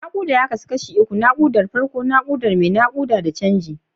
Nakuda ya kasu kashi uku: nakudar farko, nakudar mai nakuda, da canji.